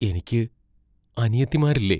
എനിക്ക് അനിയത്തിമാരില്ലേ?